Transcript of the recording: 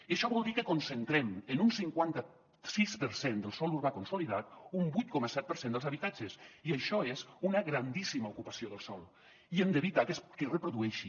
i això vol dir que concentrem en un cinquanta sis per cent del sòl urbà consolidat un vuit coma set per cent dels habitatges i això és una grandíssima ocupació del sòl i hem d’evitar que es reprodueixi